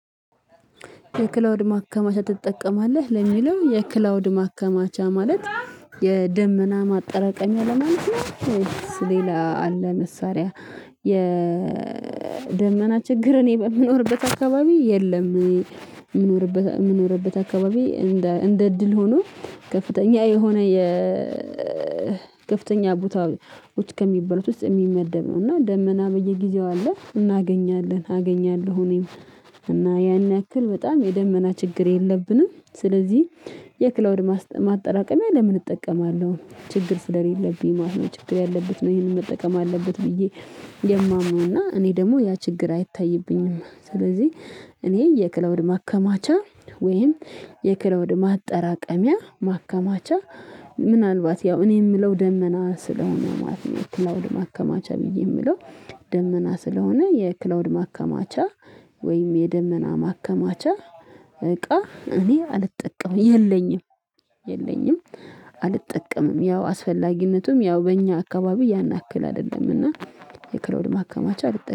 የክላውድ ማከማቻ ትጠቀማለህ? ለሚለው የክላውድ ማከማቻ ማለት የደመና ማጠራቀሚያ ለማለት ነው። ሌላ አለ መሳሪያ የደመና ችግር እኔ በምኖርበት አካባቢ የለም የምኖርበት የምኖርበት አካባቢ እንደ እንደ እድል ሆኖ ከፍተኛ የሆነ የ ከፍተኛ ቦታዎች ከሚባሉት ውስጥ የሚመደብ ነው። እና ደመና በየጊዜው አለ እናገኛለን፤ አገኛለሁ እኔም እና ያን ያክል በጣም የደመና ችግር የለብንም ስለዚህ እንደ እንደ እድል ሆኖ ከፍተኛ የሆነ የከፍተኛ ቦታዎች ከሚባሉት ውስጥ የሚመደብ ነው። እና ደመና በየጊዜው አለ እናገኛለ፤ አገኛለሁ እኔም እና ያን ያክል በጣም የደመና ችግር የለብንም ስለዚህ የማምነው እና እኔ ደግሞ ያ ችግር አይታይብኝም ስለዚህ እኔ የክለውድ ማከማቻ ወይም የክለውድ ማጠራቀሚያ ማከማቻ ምናልባት ያው እኔ የምለው ደመና ስለሆነ ማለት ነው ወደ ማከማቻ ብዬ የምለው ደመና ስለሆነ የክላውድ ማከማቻ ወይም የደመና ማከማቻ እቃ እኔ አልጠቀምም፤ የለኝም፤ የለኝም አልጠቀምም። ያው አስፈላጊነቱም ያው በእኛ አካባቢ ያን ያክል አይደለም እና የክላውድ ማከማቻ አልተቻለም